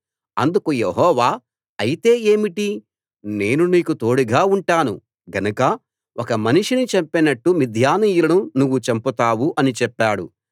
అందుకు యెహోవా అయితే ఏమిటి నేను నీకు తోడుగా ఉంటాను గనక ఒకే మనిషిని చంపినట్టు మిద్యానీయులను నువ్వు చంపుతావు అని చెప్పాడు